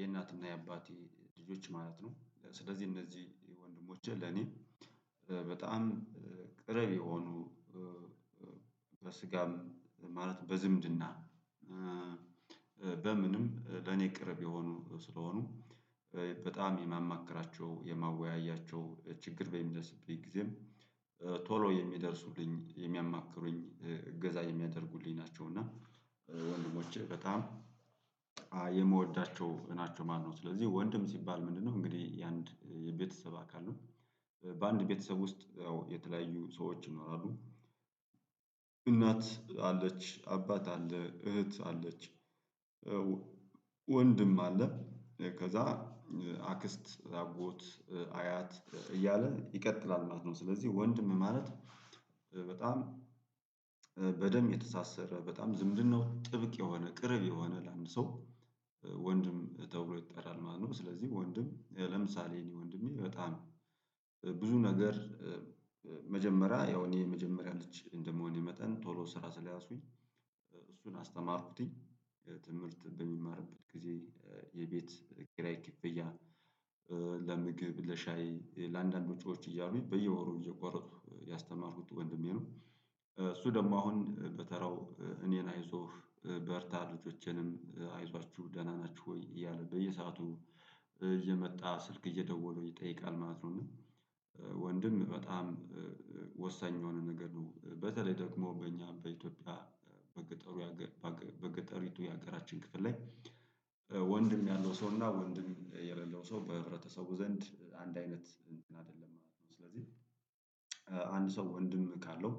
የእናትም የአባቴ ልጆች ማለት ነው። ስለዚህ እነዚህ ወንድሞቼ ለእኔ በጣም ቅረብ የሆኑ። በስጋም ማለት በዝምድና በምንም ለኔ ቅርብ የሆኑ ስለሆኑ በጣም የማማክራቸው ያማወያያቸው ችግር በሚደርስብኝ ጊዜም ቶሎ የሚደርሱልኝ የሚያማክሩኝ እገዛ የሚያደርጉልኝ ናቸው። እና ወንድሞች በጣም የምወዳቸው ናቸው ማለት ነው። ስለዚህ ወንድም ሲባል ምንድነው እንግዲህ የአንድ የቤተሰብ አካል ነው። በአንድ ቤተሰብ ውስጥ ያው የተለያዩ ሰዎች ነው ይኖራሉ። እናት አለች አባት አለ እህት አለች። ወንድም አለ። ከዚያ አክስት አጎት አያት እያለ ይቀጥላል ማለት ነው። ስለዚህ ወንድም ማለት በጣም በደንብ የተሳሰረ በጣም ዝምድናው ጥብቅ የሆነ ቅርብ የሆነ ለአንድ ሰው ወንድም ተብሎ ይጠራል ማለት ነው። ስለዚህ ወንድም ለምሳሌ እኔ ወንድሜ በጣም ብዙ ነገር። መጀመሪያ ያው እኔ የመጀመሪያ ልጅ እንደመሆኔ መጠን ቶሎ ስራ ስለያዝኩኝ እሱን አስተማርኩትኝ ትምህርት በሚማርበት ጊዜ የቤት ኪራይ ክፍያ ለምግብ ለሻይ ለአንዳንድ ውጪዎች እያሉኝ በየወሩ እየቋረጡ ያስተማርኩት ወንድሜ ነው። እሱ ደግሞ አሁን በተራው እኔን አይዞህ በርታ ልጆቼንም አይዟችሁ ደህና ናችሁ ወይ እያለ በየሰአቱ እየመጣ ስልክ እየደወለ ይጠይቃል ማለት ነው። እና ወንድም በጣም ወሳኝ የሆነ ነገር ነው። በተለይ ደግሞ በእኛ በኢትዮጵያ በገጠሩ በገጠሪቱ የሀገራችን ክፍል ላይ ወንድም ያለው ሰው እና ወንድም የሌለው ሰው በህብረተሰቡ ዘንድ አንድ አይነት እንትን አይደለም ማለት ነው። ስለዚህ አንድ ሰው ወንድም ካለው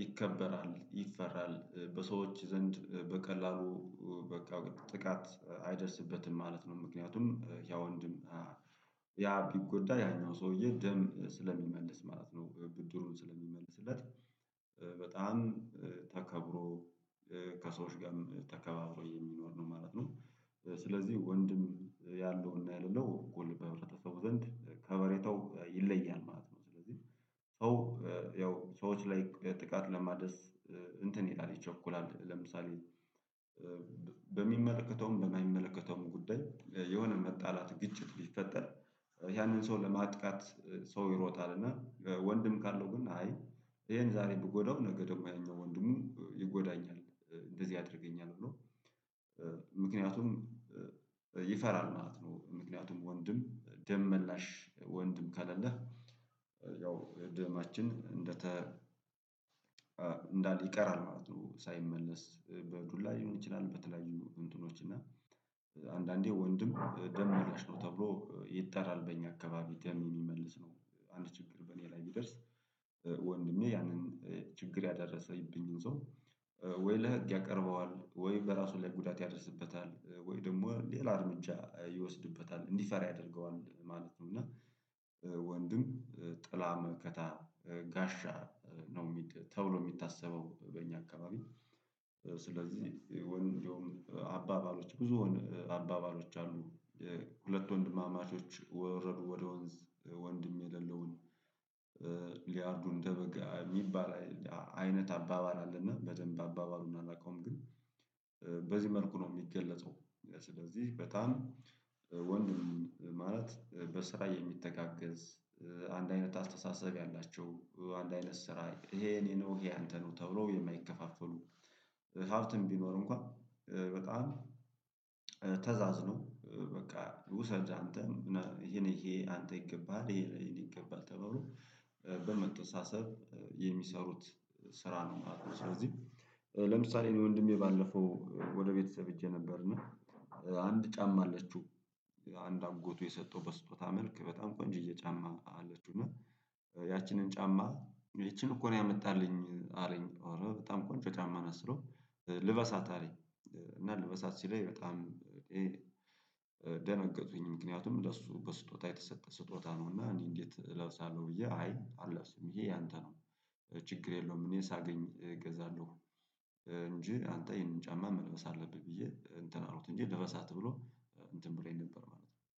ይከበራል ይፈራል በሰዎች ዘንድ በቀላሉ በቃ ጥቃት አይደርስበትም ማለት ነው። ምክንያቱም ያ ወንድም ያ ቢጎዳ ያኛው ሰውዬ ደም ስለሚመልስ ማለት ነው። ብድሩን ስለሚመለስለት በጣም ተከብሮ ከሰዎች ጋርም ተከባብሮ የሚኖር ነው ማለት ነው። ስለዚህ ወንድም ያለውና ያለለው እኩል በህብረተሰቡ ዘንድ ከበሬታው ይለያል ማለት ነው። ስለዚህ ሰው ያው ሰዎች ላይ ጥቃት ለማድረስ እንትን ይላል ይቸኩላል ለምሳሌ በሚመለከተውም በማይመለከተውም ጉዳይ የሆነ መጣላት ግጭት ቢፈጠር ያንን ሰው ለማጥቃት ሰው ይሮጣልና ወንድም ካለው ግን አይ ይሄን ዛሬ ብጎዳው ነገ ደግሞ ያኛው ወንድሙ ይጎዳኛል እንደዚህ ያደርገኛል ብሎ ምክንያቱም ይፈራል ማለት ነው። ምክንያቱም ወንድም ደም መላሽ ወንድም ከሌለህ ያው የደማችን እንደተ እንዳለ ይቀራል ማለት ነው። ሳይመለስ በዱላ ሊሆን ይችላል በተለያዩ እንትኖች እና አንዳንዴ ወንድም ደም ማላሽ ነው ተብሎ ይጣራል በእኛ አካባቢ ደም የሚመልስ ነው። አንድ ችግር በእኔ ላይ ቢደርስ ወንድሜ ያንን ችግር ያደረሰብኝን ሰው ወይ ለህግ ያቀርበዋል ወይ በራሱ ላይ ጉዳት ያደርስበታል ወይ ደግሞ ሌላ እርምጃ ይወስድበታል እንዲፈራ ያደርገዋል ማለት ነው። እና ወንድም ጥላ መከታ ጋሻ ነው የሚል ተብሎ የሚታሰበው በእኛ አካባቢ ስለዚህ የወንድ እንደውም አባባሎች ብዙ አባባሎች አሉ። ሁለት ወንድማማቾች ወረዱ ወደ ወንዝ ወንድም የሌለውን ሊያርዱ እንደበግ የሚባል አይነት አባባል አለና በደንብ አባባሉን አላውቀውም ግን በዚህ መልኩ ነው የሚገለጸው። ስለዚህ በጣም ወንድም ማለት በስራ የሚተጋገዝ አንድ አይነት አስተሳሰብ ያላቸው አንድ አይነት ስራ ይሄ የእኔ ነው ይሄ የአንተ ነው ተብሎ የማይከፋፈሉ ሀብትም ቢኖር እንኳን በጣም ተዛዝኖ በቃ ውሰድ አንተ ይሄ ይሄን ለአንተ ይገባሃል ይሄ ለእኔ ይገባል ተባብሎ በመተሳሰብ የሚሰሩት ስራ ነው ማለት ነው። ስለዚህ ለምሳሌ እኔ ወንድሜ ባለፈው ወደ ቤተሰብ ሄጄ ነበር እና። አንድ ጫማ አለችው አንድ አጎቱ የሰጠው በስጦታ መልክ በጣም ቆንጅዬ ጫማ አለችው እና ያቺንን ጫማ ይቺን እኮ ነው ያመጣልኝ አለኝ አረ በጣም ቆንጆ ጫማ ናት ስለው ልበሳት አለኝ። እና ልበሳት ሲለኝ በጣም ደነገጥኩኝ ምክንያቱም ለእሱ በስጦታ የተሰጠ ስጦታ ነው እና እንዴት እለብሳለሁ ብዬ አይ አልለብስም ይሄ ያንተ ነው ችግር የለውም እኔ ሳገኝ እገዛለሁ። እንጂ አንተ ይሄንን ጫማ መልበስ አለብህ ብዬ እንትን አልኩት እንጂ ልበሳት ብሎ እንትን ብሎኝ ነበር ማለት ነው